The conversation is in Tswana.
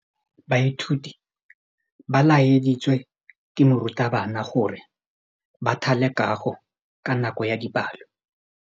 Baithuti ba laeditswe ke morutabana gore ba thale kagô ka nako ya dipalô.